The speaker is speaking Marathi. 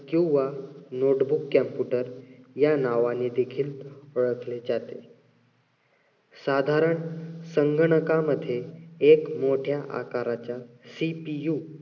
किंवा notebook, computer या नावाने देखील ओळखले जाते. साधारण संगणकामध्ये एक मोठ्या आकाराच्या CPU किंवा